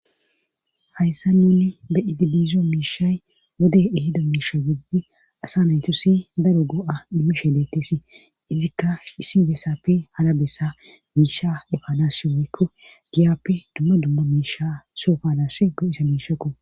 Hayssan nuni be'idi dizo miishay wodey ehida miisha gididi asa naytussi daro go'a immishe beetesi izikka issi bessappe hara bessa miisha efanassi woykko giyappe dumma dumma miisha soo efanas go'iza miishekko.